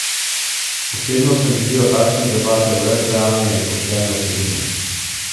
Osebno se mi zdijo takšne debate brez realne in poštene vsebine.